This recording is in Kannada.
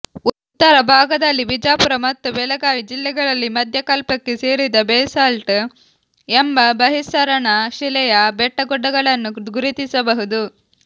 ಉತ್ತರ ಭಾಗದಲ್ಲಿ ಬಿಜಾಪುರ ಮತ್ತು ಬೆಳಗಾವಿ ಜಿಲ್ಲೆಗಳಲ್ಲಿ ಮಧ್ಯಕಲ್ಪಕ್ಕೆ ಸೇರಿದ ಬೆಸಾಲ್ಟ್ ಎಂಬ ಬಹಿಸ್ಸರಣಶಿಲೆಯ ಬೆಟ್ಟಗುಡ್ಡಗಳನ್ನು ಗುರುತಿಸಬಹುದು